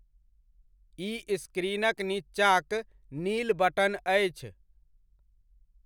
ई स्क्रीनक नीचाँक नील बटन अछि।